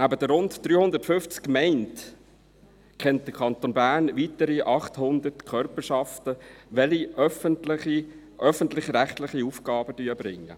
Neben den rund 350 Gemeinden kennt der Kanton Bern weitere 800 Körperschaften, die öffentlich-rechtliche Aufgaben erbringen.